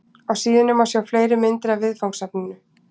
Á síðunni má sjá fleiri myndir af viðfangsefninu.